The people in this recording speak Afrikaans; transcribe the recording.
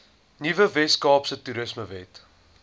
nuwe weskaapse toerismewet